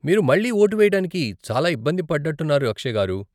మీరు మళ్ళీ ఓటు వేయడానికి చాలా ఇబ్బంది పడ్డట్టున్నారు అక్షయ్ గారు.